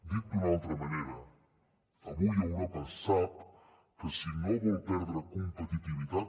dit d’una altra manera avui europa sap que si no vol perdre competitivitat